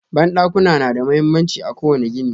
Bandakuna na da mahimmanci a ƙowane gini